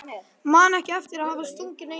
Man ekki eftir að hafa stungið neinu á sig.